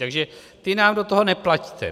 Takže ty nám do toho nepleťte.